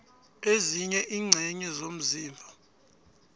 ezinye iingcenye zomzimba